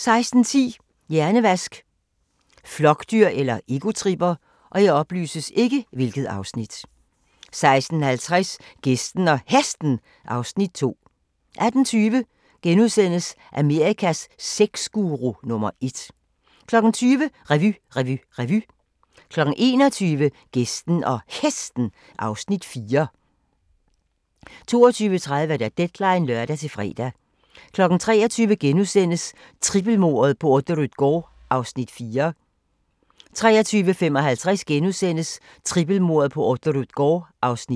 16:10: Hjernevask – flokdyr eller egotripper? 16:50: Gæsten og Hesten (Afs. 2)* 18:20: Amerikas sexguru nummer ét * 20:00: Revy, revy, revy 21:00: Gæsten og Hesten (Afs. 4) 22:30: Deadline (lør-fre) 23:00: Trippelmordet på Orderud gård (Afs. 4)* 23:55: Trippelmordet på Orderud gård (Afs. 5)*